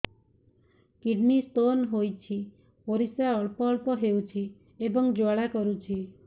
kidney stone ହୋଇଛି ପରିସ୍ରା ଅଳ୍ପ ଅଳ୍ପ ହେଉଛି ଏବଂ ଜ୍ୱାଳା କରୁଛି